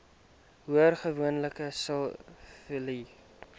hoor gewoonlik siviele